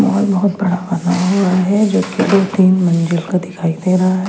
और बहोत बड़ा बना हुआ है जो की दो तीन मंजिल का दिखाई दे रहा है।